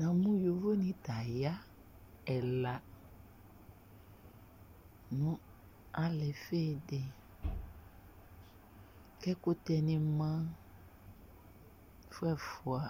namʊ yovonɩ t'aya ɛla nʊ alɩfɩdɩ k'ɛƙʊtɛnɩ ma ƒʊɛƒ̃a